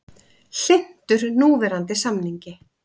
Hlynntur núverandi samningi